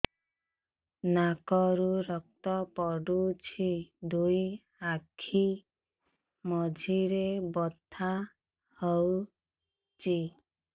ନାକରୁ ରକ୍ତ ପଡୁଛି ଦୁଇ ଆଖି ମଝିରେ ବଥା ହଉଚି